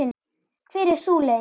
Hver er sú leið?